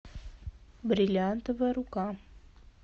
бриллиантовая рука